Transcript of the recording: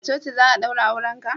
a coci za a daura auren ka?